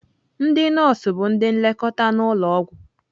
Ndị nọọsụ bụ ndị nlekọta n'ụlọ ọgwụ.